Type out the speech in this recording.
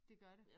Det gør det